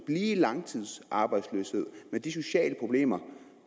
i langtidsarbejdsløshed med de sociale problemer